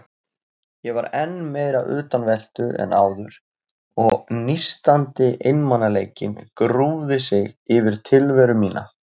Ég var enn meira utanveltu en áður og nístandi einmanaleikinn grúfði sig yfir tilveru mína.